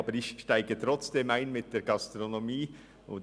Aber ich steige trotzdem mit der Gastronomie ein.